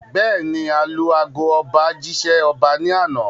Bẹ́ẹ̀ni, alu ago ọba jí ṣẹ́ ọba ní àná